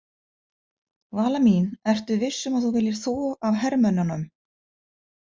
Vala mín, ertu viss um að þú viljir þvo af hermönnunum?